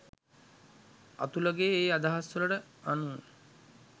අතුලගේ ඒ අදහස්වලට අනුව